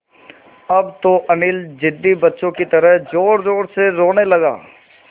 अब तो अनिल ज़िद्दी बच्चों की तरह ज़ोरज़ोर से रोने लगा